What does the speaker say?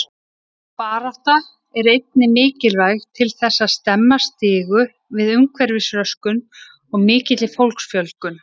Sú barátta er einnig mikilvæg til þess að stemma stigu við umhverfisröskun og mikilli fólksfjölgun.